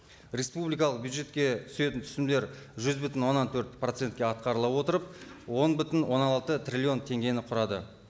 республикалық бюджетке түсетін түсімдер жүз бүтін оннан төрт процентке атқарыла отырып он бүтін оннан алты триллион теңгені құрады